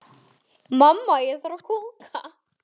Hvað gerist í haust?